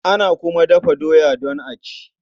Ana kuma dafa doya don a ci.